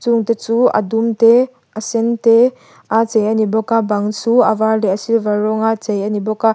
chungte chu a dum te a sen te a chei a ni bawk a bang chu a vâr leh a silver rawnga chei a ni bawk a.